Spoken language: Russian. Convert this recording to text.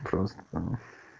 просто там